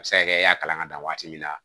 A bɛ se ka kɛ i y'a kalan ka dan waati min na